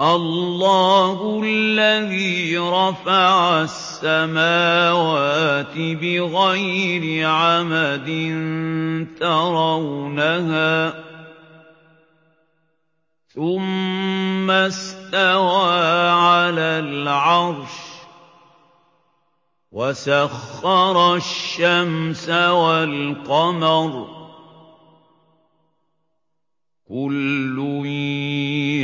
اللَّهُ الَّذِي رَفَعَ السَّمَاوَاتِ بِغَيْرِ عَمَدٍ تَرَوْنَهَا ۖ ثُمَّ اسْتَوَىٰ عَلَى الْعَرْشِ ۖ وَسَخَّرَ الشَّمْسَ وَالْقَمَرَ ۖ كُلٌّ